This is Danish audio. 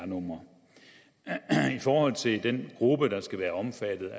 numre i forhold til den gruppe der skal være omfattet